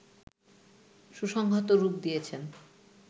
সুসংহত রূপ দিয়েছেন